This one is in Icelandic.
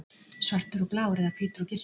Svartur og blár eða hvítur og gylltur?